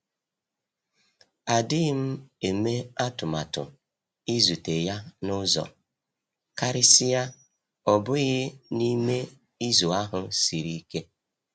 Adịghị m eme atụmatụ ịzute ya n'uzọ, karịsịa ọ bụghị n'i me izu ahụ siri ike.